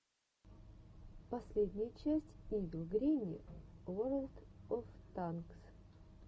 последняя часть ивил гренни ворлд оф танкс